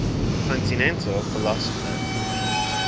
continental philosophers